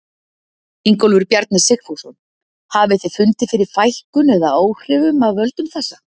Ingólfur Bjarni Sigfússon: Hafið þið fundið fyrir fækkun eða áhrifum af völdum þessa?